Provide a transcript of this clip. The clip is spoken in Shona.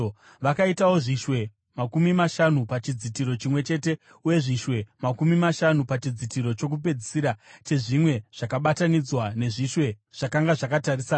Vakaitawo zvishwe makumi mashanu pachidzitiro chimwe chete uye zvishwe makumi mashanu pachidzitiro chokupedzisira chezvimwe zvakabatanidzwa nezvishwe zvakanga zvakatarisana.